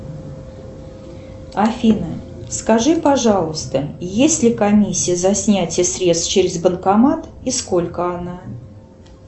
афина скажи пожалуйста есть ли комиссия за снятие средств через банкомат и сколько она